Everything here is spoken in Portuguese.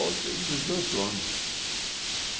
Oito e dezoito anos.